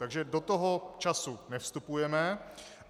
Takže do toho času nevstupujeme.